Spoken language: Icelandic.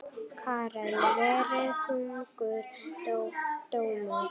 Karen: Verið þungur dómur?